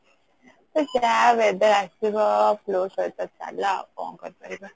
ତ ଜା weather ଆସିବ flow ସହିତ ଚାଲ ଅଉ କଣ କରିପାରିବା